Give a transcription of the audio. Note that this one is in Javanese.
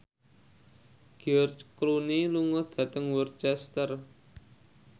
George Clooney lunga dhateng Worcester